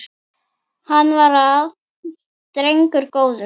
Hann var drengur góður